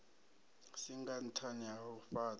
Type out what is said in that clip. singa nṱhani ha u fhaṱha